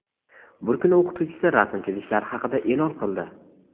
Bir kuni o‘qituvchisi rasm chizishlari haqida eʼlon qildi.